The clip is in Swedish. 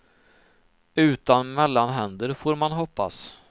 Utan mellanhänder, får man hoppas.